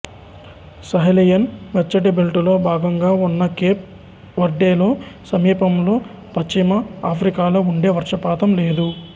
Sahelian వెచ్చటి బెల్టులో భాగంగా ఉన్న కేప్ వర్డేలో సమీపంలోని పశ్చిమ ఆఫ్రికాలో ఉండే వర్షపాతం లేదు